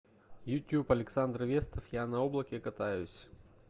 ютюб александр вестов я на облаке катаюсь